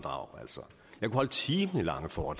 mig for